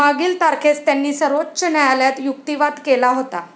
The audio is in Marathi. मागील तारखेस त्यांनी सर्वोच्च न्यायालयात युक्तीवाद केला होता.